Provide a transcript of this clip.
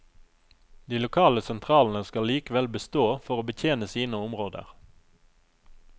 De lokale sentralene skal likevel bestå for å betjene sine områder.